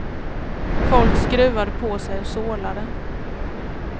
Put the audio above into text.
Folk skruvade på sig och sorlade.